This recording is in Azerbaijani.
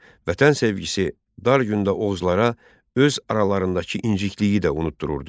Vətən sevgisi dar gündə Oğuzlara öz aralarındakı incikliyi də unutdururdu.